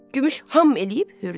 Gümüş ham eləyib hürdü.